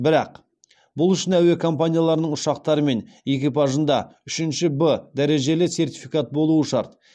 бірақ бұл үшін әуе компанияларының ұшақтары мен экипажында үшінші в дәрежелі сертификат болуы шарт